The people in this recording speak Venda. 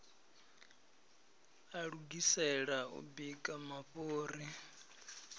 a lugisela u bika mafhuri